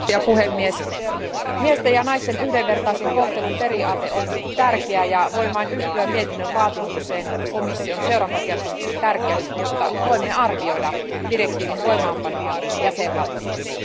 Arvoisa puhemies, miesten ja naisten yhdenvertaisen kohtelun periaate on tärkeä, ja voin vain yhtyä mietinnön vaatimukseen komission seurantakertomuksen tärkeydestä, jotta voimme arvioida direktiivin voimaanpanoa jäsenvaltioissa.